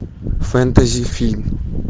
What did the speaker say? фэнтези фильм